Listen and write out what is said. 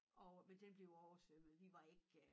Og men den blev oversvømmet vi var ikke øh